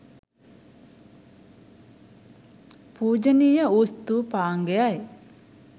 පූජනීය වූ ස්තූපාංගයයි.